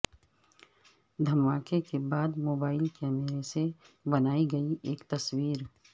دھماکے کے بعد موبائل کیمرے سے بنائی گئی ایک تصویر